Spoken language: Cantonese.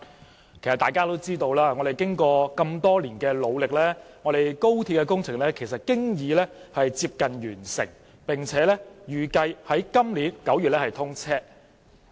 其實大家都知道，經過多年努力，廣深港高速鐵路工程已經接近完成，並預計於今年9月通車。